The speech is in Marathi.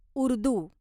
उर्दू